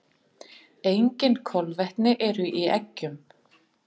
Engin kolvetni eru í eggjum.